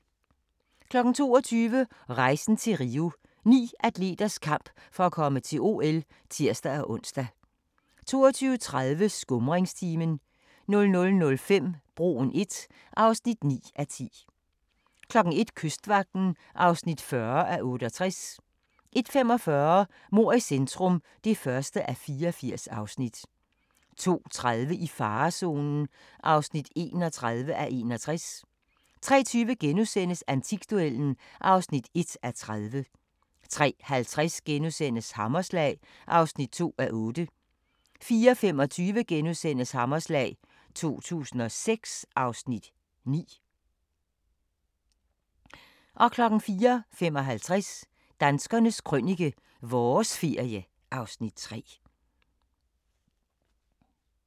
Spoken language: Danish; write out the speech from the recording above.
22:00: Rejsen til Rio – Ni atleters kamp for at komme til OL (tir-ons) 22:30: Skumringstimen 00:05: Broen I (9:10) 01:00: Kystvagten (40:68) 01:45: Mord i centrum (1:84) 02:30: I farezonen (31:61) 03:20: Antikduellen (1:30)* 03:50: Hammerslag (2:8)* 04:25: Hammerslag 2006 (Afs. 9)* 04:55: Danskernes Krønike - vores ferie (Afs. 3)